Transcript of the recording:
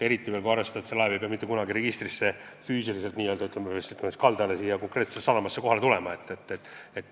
Eriti kui arvestada, et laev ei pea mitte kunagi konkreetselt meie sadamasse kohale sõitma.